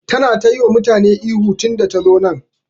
Tana ta yi wa mutane ihu tun da ta zo nan.